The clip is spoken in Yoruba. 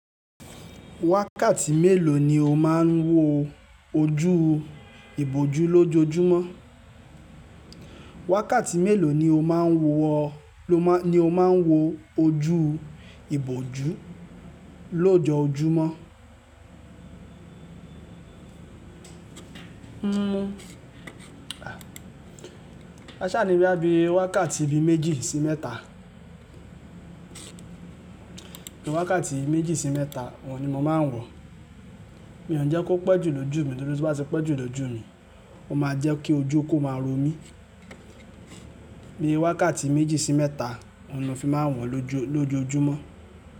Wákàtí mélòó ni o máa ń wo ojú ìbòjú lójoojúmọ́? Wákàtí mélòó ni o máa ń wo ojú ìbòjú lójoojúmọ́? A sá ni bí i wákàtí bí méjì sí mẹ́ta. Bí i wákàtí méjì sí mẹ́ta, òun ni mo máa ń wọ̀. Mi i òun jẹ́ kó pẹ́ jù lójú mi, nítorí tí ó bá ti pẹ́ jù lójú mi, ó máa jẹ́ kí ojú kó máa ro mí. Bí i wákàtí méjì sí mẹ́ta, òun ni fi máa ń wọ̀n lójoojúmọ́